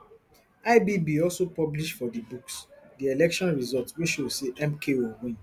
ibb also publish for di books di election results wey show say mko win